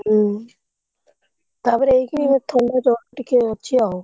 ହୁଁ ତାପରେ ଏଇଖିଣି ଏ ଥଣ୍ଡା ଜ୍ୱର ଟିକେ ଅଛି ଆଉ।